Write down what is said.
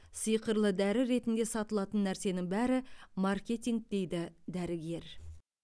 сиқырлы дәрі ретінде сатылатын нәрсенің бәрі маркетинг дейді дәрігер